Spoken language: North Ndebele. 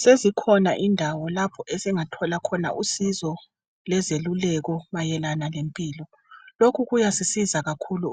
Sezikhona indawo lapho esingathola khona usizo lezeluleko mayelana lempilo. Lokhu kuyasisiza